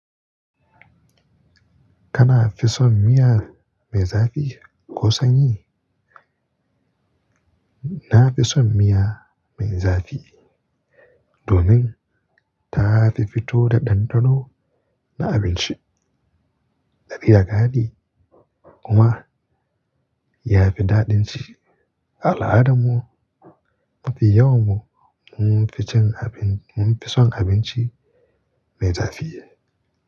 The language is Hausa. Kana fi son miya mai zafi ko sanyi? Na fi son miya mai zafi domin ta fi fito da ɗanɗano na abinci da filagadi kuma ya fi daɗin ci. Al'adar mu mafi yawan mu mun fi cin abin, mun fi son abinci mai zafi.